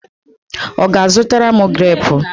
Ọ ga-azụtara m greepu?